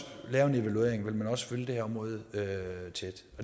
lave en evaluering vil man også følge det her område tæt